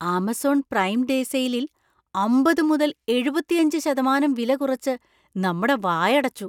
Amazon prime day സെയിലിൽ അമ്പത്‌ മുതൽ എഴുപത്തിയഞ്ച് ശതമാനം വില കുറച്ചു നമ്മടെ വായടച്ചു.